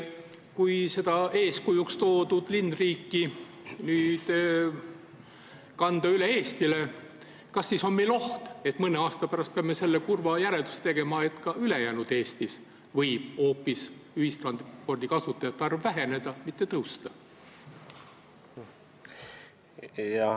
Kui see eeskujuks toodud linnriigi mudel nüüd kanda üle Eestile, siis kas on oht, et mõne aasta pärast peame tegema selle kurva järelduse, et ka ülejäänud Eestis võib ühistranspordikasutajate arv hoopis väheneda, mitte kasvada?